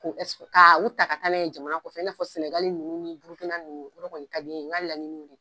Ka u ta ka ta jamana kɔfɛ, n'a fɔ sɛnɛgai ninnu ni Burukina ninnu o yɔrɔ kɔni ka di ne ye , n ka laɲini ye o ye..